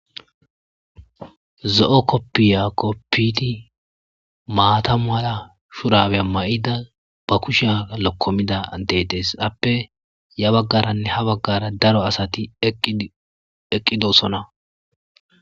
zo'o koppiya koppiti maata mala shurabe ma7ida ba kusha lokkomida dedees appe ya baggaranne ha baggara daro asati eqqidosona